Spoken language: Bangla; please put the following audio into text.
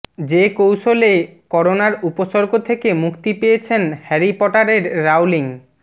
যে কৌশলে করোনার উপসর্গ থেকে মুক্তি পেয়েছেন হ্যারি পটারের রাউলিং